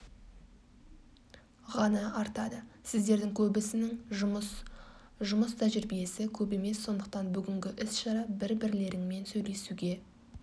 ған артады сіздердің көбісінің жұмыс жұмыс тәжрибиесі көп емес сондықтан бүгінгі іс-шара бір бірлеріңмен сөйлесуге